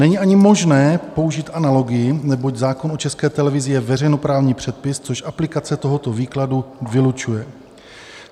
Není ani možné použít analogii, neboť zákon o České televizi je veřejnoprávní předpis, což aplikace tohoto výkladu vylučuje.